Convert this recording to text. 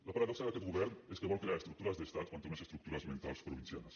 la paradoxa d’aquest govern és que vol crear estruc·tures d’estat quan té unes estructures mentals provin·cianes